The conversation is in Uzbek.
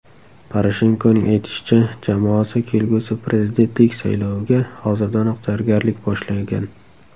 Poroshenkoning aytishicha, jamoasi kelgusi prezidentlik sayloviga hozirdanoq tayyorgarlik boshlangan.